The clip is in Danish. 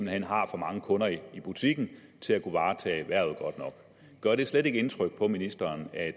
hen har for mange kunder i butikken til at kunne varetage hvervet godt nok gør det slet ikke indtryk på ministeren at